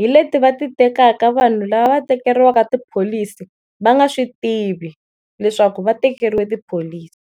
hi leti va ti tekaka vanhu lava tekeriwaka tipholisi va nga swi tivi leswaku va tekeriwe tipholisi.